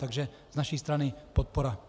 Takže z naší strany podpora.